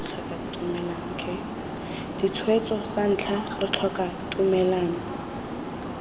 ditshwetso santlha re tlhoka tumellano